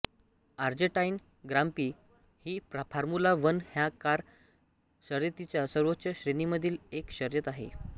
Argentine grand prix ही formula one ह्या car शर्यतीच्या सर्वोच्च श्रेणीमधील एक शर्यत आहे